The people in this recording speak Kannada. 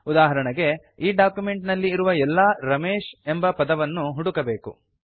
ಉದಾಹರಣೆಗೆ ಈ ಡಾಕ್ಯುಮೆಂಟ್ ನಲ್ಲಿ ಇರುವ ಎಲ್ಲಾ ರಮೇಶ್ ಎಂಬ ಪದವನ್ನು ಹುಡುಕಬೇಕು